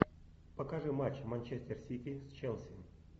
покажи матч манчестер сити с челси